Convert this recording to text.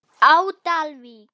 á Dalvík.